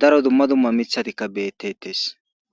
daro dumma dumma mithatikka beettetes